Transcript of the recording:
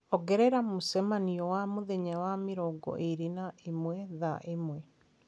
ongerera mũcemanio wa mũthenya wa mĩrongo ĩĩrĩ na ĩmwe thaa ĩmwe